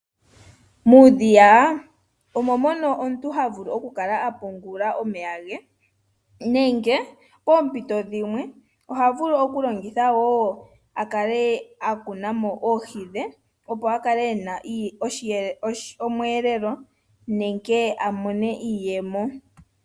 Muudhiya omo mono omuntu ha vulu oku kala a pungula omeya ge nenge poompito dhimwe oha vulu oku longitha wo akale a kuna mo oohi dhe opo a kale ena omweelelo nenge a mone iiyemo.